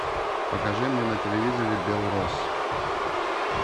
покажи мне на телевизоре белрос